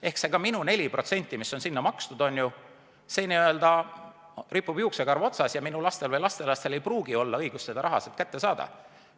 Ehk ka see minu 4%, mis on sinna makstud, n-ö ripub juuksekarva otsas ja minu lastel või lastelastel ei pruugi olla õigust seda raha sealt kätte saada.